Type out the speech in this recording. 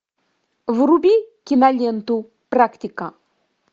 вруби киноленту практика